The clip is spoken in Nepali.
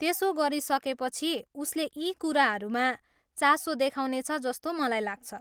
त्यसो गरिसकेपछि उसले यी कुराहरूमा चासो देखाउनेछ जस्तो मलाई लाग्छ।